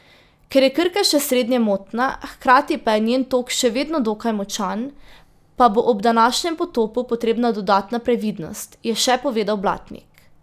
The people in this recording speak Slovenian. Ker je Krka še srednje motna, hkrati pa je njen tok še vedno dokaj močan, pa bo ob današnjem potopu potrebna dodatna previdnost, je še povedal Blatnik.